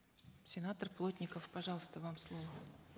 сенатор плотников пожалуйста вам слово